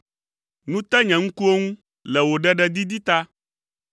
Nu te nye ŋkuwo ŋu le wò ɖeɖedidi ta.